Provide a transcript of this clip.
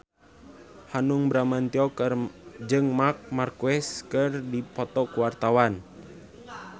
Hanung Bramantyo jeung Marc Marquez keur dipoto ku wartawan